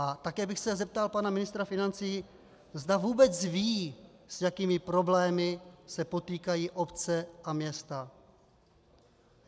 A také bych se zeptal pana ministra financí, zda vůbec ví, s jakými problémy se potýkají obce a města.